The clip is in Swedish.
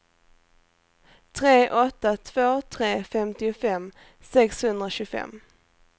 tre åtta två tre femtiofem sexhundratjugofem